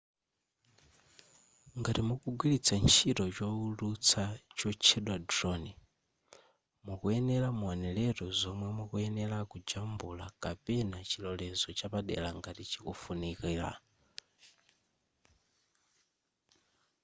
ngati mukugwilitsa ntchito chowulutsa chotchedwa drone mukuyenera muoneretu zomwe mukuyenera kujambula kapena chilolezo chapadera ngati chikufunikira